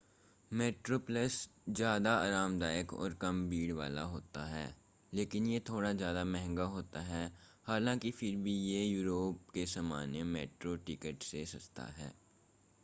Metro Plus ज़्यादा आरामदायक और कम भीड़ वाला होता है लेकिन यह थोड़ा ज़्यादा महंगा होता है हालांकि फिर भी यह यूरोप के सामान्य मेट्रो टिकिट से सस्ता है